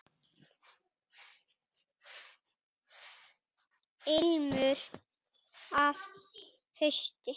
Ilmur af hausti!